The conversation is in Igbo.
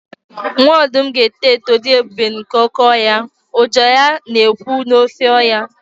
Nwa ọdụm ga-eto eto dị ebube nke oke ọhịa, ụja ya na-ekwu n’ofe ọhịa.